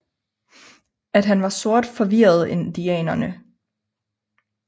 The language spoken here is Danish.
At han var sort forvirrede indianerne